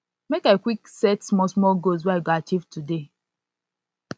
make i quick set smallsmall goals wey i go achieve i go achieve today